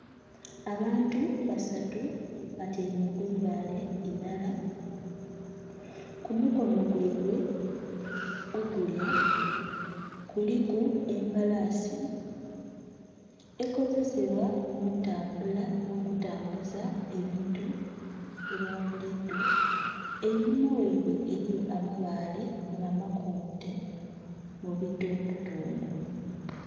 Abantu basatu batyaime ku ibaale ilala. Ku mukono gwaibwe ogulya kuliku embalasi ekozesebwa mu ntambula n'okutambuza ebintu ebya buliidho. Einhuma waibwe eriyo amabaale nga makonte mubitundutundu.